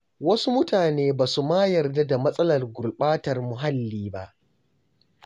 Wasu mutane ba su ma yarda da matsalar gurɓatar muhalli ba.